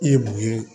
I ye mun ye